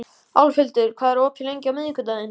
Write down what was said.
Álfhildur, hvað er opið lengi á miðvikudaginn?